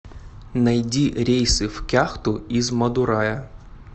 найди рейсы в кяхту из мадурая